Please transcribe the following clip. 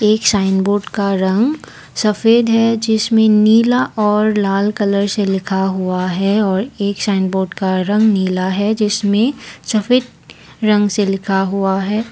एक sign board का रंग सफेद है जिसमें नीला और लाल कलर से लिखा हुआ है और एक साइन बोर्ड का रंग नीला है जिसमें सफेद रंग से लिखा हुआ है।